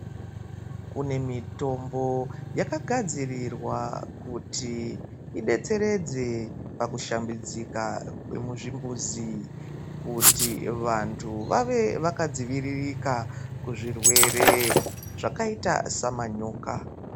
Kune mitombo yakagadzirirwa kuti idetseredze pakushambidzika kwemuzvimbuzi, kuti vanthu vave vakadziviririka kuzvirwere, zvakaita samanyoka.